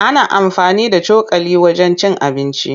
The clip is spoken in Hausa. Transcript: Ana amfani da cokali wajen cin abinci.